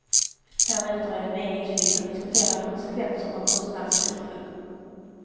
Därefter är det meningsfyllt att diskutera konsekvenser av kostnadsreduktion.